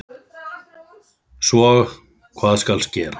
Svo hvað skal gera?